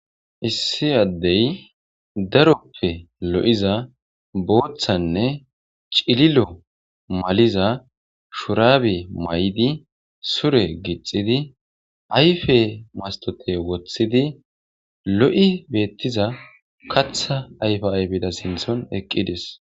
Issi addey daroppe lo'iza booththanne cililo maliza shurabe mayidi, sure gixxidi ayfe mastote woththidi, lo'i beettiza kaththa ayfa ayfeda sinththan eqqides.